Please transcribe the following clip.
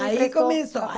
Aí começou.